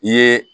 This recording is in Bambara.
I ye